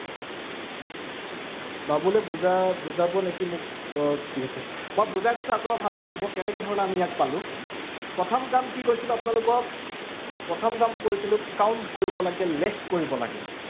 বাবুলে বুজাবুজাব নেকি মোক, আহ ঠিক আছে, মই বুজাই দিছো আকৌ এবাৰ ভালদৰে চাব, কেনেকে ধৰণে আমি ইয়াক পালো। প্ৰথম কাম কি কৰিছিলো আপোনালোকক প্ৰথম কাম কৰিছিলো count কৰিব লাগে, লেখ কৰিব লাগে